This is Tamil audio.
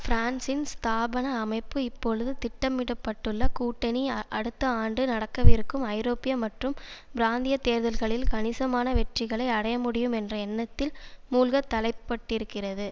பிரான்சின் ஸ்தாபன அமைப்பு இப்பொழுது திட்டமிட பட்டுள்ள கூட்டணி அடுத்த ஆண்டு நடக்கவிருக்கும் ஐரோப்பிய மற்றும் பிராந்திய தேர்தல்களில் கணிசமான வெற்றிகளை அடையமுடியும் என்ற எண்ணத்தில் மூழ்க தலைப்பட்டிருக்கிறது